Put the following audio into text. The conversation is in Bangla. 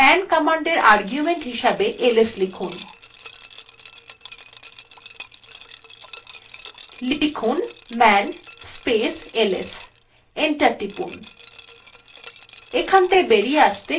এবার man commandএ argument হিসাবে ls লিখতে হবে লেখা যাকman space ls enter টিপলাম